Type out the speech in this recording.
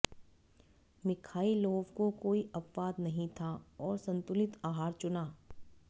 Mikhailov को कोई अपवाद नहीं था और संतुलित आहार चुना